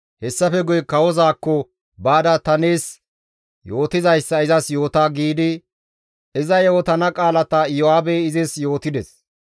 Hessafe guye kawozaakko baada ta nees yootizayssa izas yoota» giidi iza yootana qaalata Iyo7aabey izis yootides.